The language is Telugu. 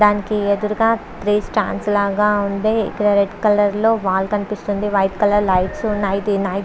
దానికి అదురుగా త్రీ స్టాండ్ లాగా ఉంది రెడ్ కలర్ లో వాల్ కనిపిస్తుంది. వైట్ కలర్ లైట్స్ ఉన్నాయి.